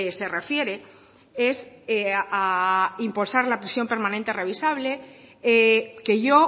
se refiere es a impulsar la prisión permanente revisable que yo